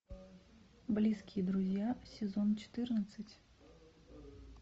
близкие друзья сезон четырнадцать